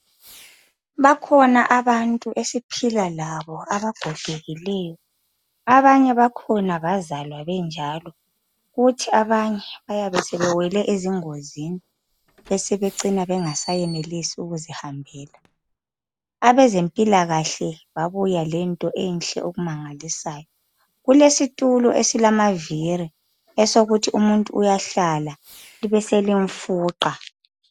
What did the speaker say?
Bakhona abantu esiphila labo abagogekileyo. Abanye bakhona bazalwa benjalo. Kuthi abanye bayabe sebewele ezingozini, basebecina bengaseyenelisi ukuzihambela. Abezempilakahle, beza lento enhle okumangalisayo. Kulesitulo esilamavili, ukuthi umuntu uyahlala, libe selimfuqa.